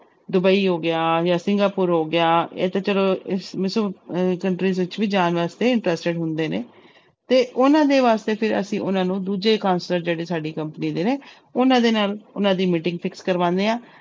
Dubai ਹੋ ਗਿਆ ਜਾਂ ਸਿੰਗਾਪੁਰ ਹੋ ਗਿਆ ਇਹ ਤਾਂ ਚਲੋ ਇਸ ਇਸ ਅਹ countries ਵਿੱਚ ਵੀ ਜਾਣ ਵਾਸਤੇ interested ਹੁੰਦੇ ਨੇ, ਤੇ ਉਹਨਾਂ ਦੇ ਵਾਸਤੇ ਫਿਰ ਅਸੀਂ ਉਹਨਾਂ ਨੂੰ ਦੂਜੇ counselor ਜਿਹੜੇ ਸਾਡੀ company ਦੇ ਨੇ ਉਹਨਾਂ ਦੇ ਨਾਲ ਉਹਨਾਂ ਦੀ meeting ਕਰਵਾਉਂਦੇ ਆ,